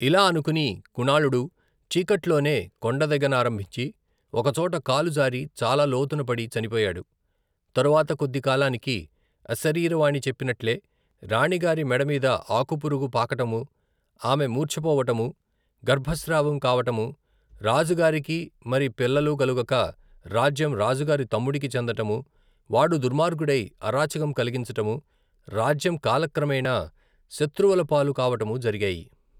ఇలా అనుకుని, కుణాళుడు చీకట్లో నే కొండదిగ నారంభించి, ఒకచోట కాలు జారి చాలా లోతున పడి చనిపోయాడు, తరువాత కొద్దికాలానికి అశరీరవాణి చెప్పినట్లే, రాణిగారి మెడమీద ఆకుపురుగు పాకటము ఆమె మూర్చపోవటము, గర్భ స్రావం కావటము, రాజుగారికి, మరి పిల్లలు కలగక రాజ్యం రాజుగారి తమ్ముడికి చెందటము, వాడు దుర్మార్గుడై, అరాచకం కలిగించటము, రాజ్యం కాలక్రమేన శత్రువుల పాలు కావటము జరిగాయి.